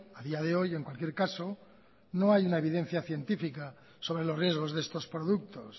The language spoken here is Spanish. a día de hoy en cualquier caso no hay una evidencia científica sobre los riesgos de estos productos